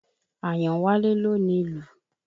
Àyànwálé ló ni lù.